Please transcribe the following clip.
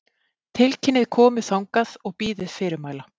Tilkynnið komu þangað og bíðið fyrirmæla.